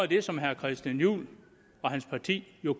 det som herre christian juhl og hans parti